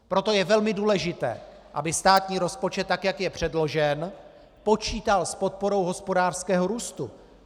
Proto je velmi důležité, aby státní rozpočet, tak jak je předložen, počítal s podporou hospodářského růstu.